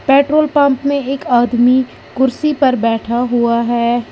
Petrol pump में एक आदमी कुर्सी पर बैठा हुआ है।